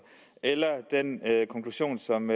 eller den konklusion som